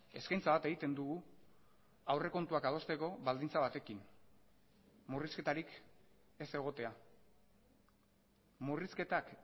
eskaintza bat egiten dugu aurrekontuak adosteko baldintza batekin murrizketarik ez egotea murrizketak